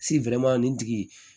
nin tigi